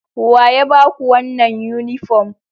Waya ba ku wannan yunifom?